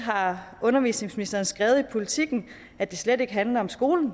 har undervisningsministeren skrevet i politiken at det slet ikke handler om skolen